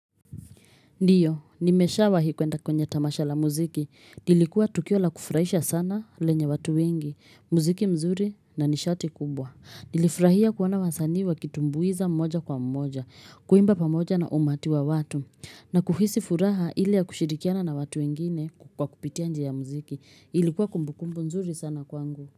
Ndiyo, nimeshawahi kuenda kwenye tamasha la muziki. Lilikuwa tukio la kufraisha sana lenye watu wengi, muziki mzuri na nishati kubwa. Nilifrahia kuona wasani wa kitumbuiza mmoja kwa mmoja, kuimba pamoja na umati wa watu. Na kuhisi furaha ili ya kushirikiana na watu wengine kwa kupitia nje ya muziki. Ilikuwa kumbukumbu mzuri sana kwangu.